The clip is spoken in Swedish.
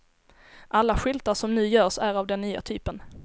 Alla skyltar som nu görs är av den nya typen.